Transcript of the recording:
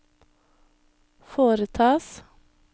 foretas